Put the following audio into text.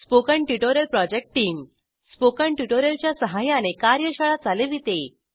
spoken tutorial project team spoken tutorial च्या सहाय्याने कार्यशाळा चालविते